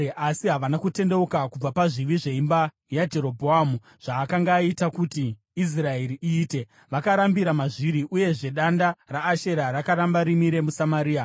Asi havana kutendeuka kubva pazvivi zveimba yaJerobhoamu, zvaakanga aita kuti Israeri iite, vakarambira mazviri. Uyezve danda raAshera rakaramba rimire muSamaria.